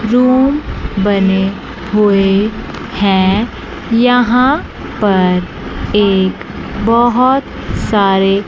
room बने हुए हैं यहां पर एक बहोत सारे--